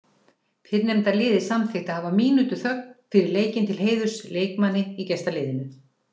Fyrrnefnda liðið samþykkti að hafa mínútu þögn fyrir leikinn til heiðurs leikmanni í gestaliðinu.